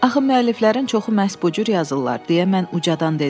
Axı müəlliflərin çoxu məhz bu cür yazırlar, deyə mən ucadan dedim.